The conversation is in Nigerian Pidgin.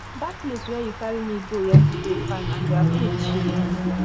dat place where you carry me go yesterday fine and their food cheap